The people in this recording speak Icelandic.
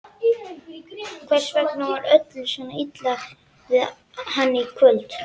Hvers vegna var öllum svona illa við hann í kvöld?